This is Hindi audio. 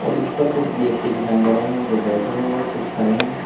इस पर कुछ व्यक्ति दिखाई दे रहे हैं जो बैठे हैं और कुछ खड़े हैं।